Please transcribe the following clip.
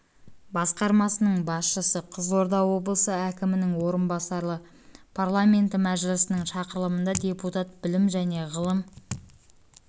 басқармасының басшысы қызылорда облысы әкімінің орынбасары парламенті мәжілісінің шақырылымында депутат жж білім және ғылым